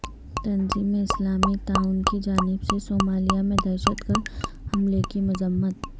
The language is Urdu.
تنظیم اسلامی تعاون کی جانب سے صومالیہ میں دہشتگرد حملے کی مذمت